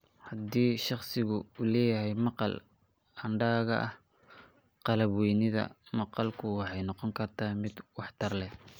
Haddii shakhsigu leeyahay maqal hadhaaga ah, qalab-weynida maqalku waxay noqon kartaa mid waxtar leh.